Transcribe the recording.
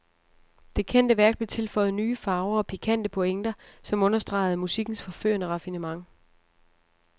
Det kendte værk blev tilføjet nye farver og pikante pointer, som understregede musikkens forførende raffinement.